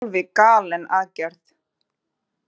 Alveg galin aðgerð